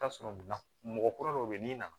I bi t'a sɔrɔ munna mɔgɔ kura dɔ bɛ n'i nana